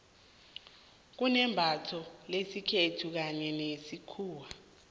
kunembatho lesikhethu kanye nelesikhuwa